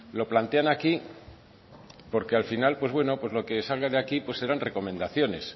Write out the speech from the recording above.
lo plantean aquí porque al final pues bueno pues lo que salga de aquí serán recomendaciones